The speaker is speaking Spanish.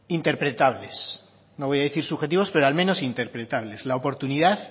interpretables no voy a decir subjetivos pero al menos interpretables la oportunidad